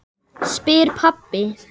spyr pabbi.